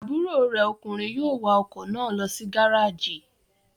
Àbúrò rè ọkùnrin yóò wa ọkọ̀ náà lọ sí gárájì.